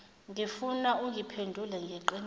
ngifuna ungiphendule ngeqiniso